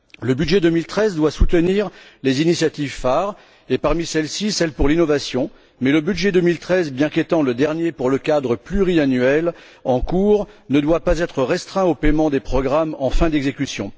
Le budget 2013 doit soutenir les initiatives phares et parmi celles ci, celle en faveur de l'innovation, mais le budget 2013, bien qu'étant le dernier du cadre pluriannuel en cours, ne doit pas être restreint au paiement des programmes en fin d'exécution.